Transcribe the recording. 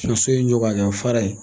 ye so in jɔ k'a kɛ fara ye